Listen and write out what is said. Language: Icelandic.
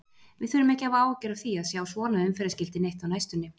Við þurfum ekki að hafa áhyggjur af því að sjá svona umferðarskilti neitt á næstunni.